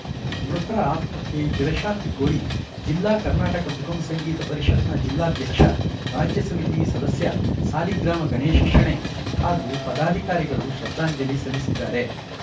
ಮೃತರ ಆತ್ಮಕ್ಕೆ ಚಿರಶಾಂತಿ ಕೋರಿ ಜಿಲ್ಲಾ ಕರ್ನಾಟಕ ಸುಗಮ ಸಂಗೀತ ಪರಿಷತ್‌ನ ಜಿಲ್ಲಾಧ್ಯಕ್ಷ ರಾಜ್ಯ ಸಮಿತಿ ಸದಸ್ಯ ಸಾಲಿಗ್ರಾಮ ಗಣೇಶ ಶೆಣೈ ಹಾಗೂ ಪದಾಧಿಕಾರಿಗಳು ಶ್ರದ್ಧಾಂಜಲಿ ಸಲ್ಲಿಸಿದ್ದಾರೆ